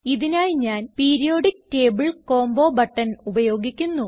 ഇതിനായി ഞാൻ periodic table combo button ഉപയോഗിക്കുന്നു